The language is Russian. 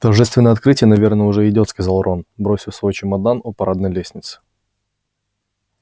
торжественное открытие наверное уже идёт сказал рон бросив свой чемодан у парадной лестницы